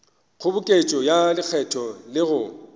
kgoboketšo ya lekgetho le go